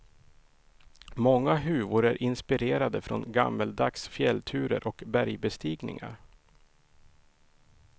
Många huvor är inspirerade från gammeldags fjällturer och bergbestigningar.